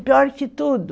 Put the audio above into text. pior que tudo